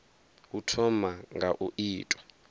u thoma nga u ita